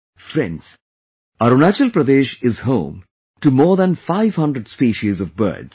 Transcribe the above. Friends, Arunachal Pradesh is home to more than 500 species of birds